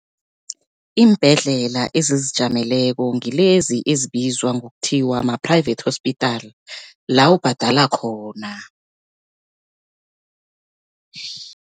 Iimbhedlela ezizijameleko ngilezi ezibizwa ngokuthiwa ma-private hospital, la ubhadala khona.